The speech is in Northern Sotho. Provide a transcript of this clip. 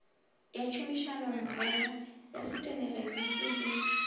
ya tšhomišanommogo ya seteginiki le